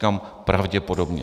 Říkám pravděpodobně.